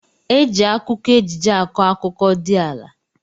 Eji akụkọ ejije akọ akụkọ di ala.